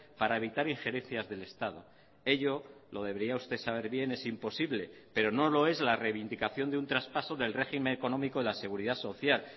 para evitar ingerencias del estado ello lo debería usted saber bien es imposible pero no lo es la reivindicación de un traspaso del régimen económico de la seguridad social